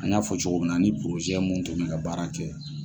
An y'a fɔ cogo min na , an ni mun tun bɛ ka baara kɛ